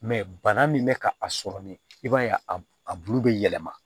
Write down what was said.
bana min bɛ ka a sɔrɔ min i b'a ye a bulu bɛ yɛlɛma